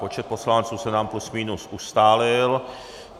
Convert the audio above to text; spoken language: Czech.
Počet poslanců se nám plus minus ustálil.